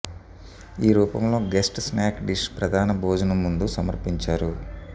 ఈ రూపంలో guest snack dish ప్రధాన భోజనం ముందు సమర్పించారు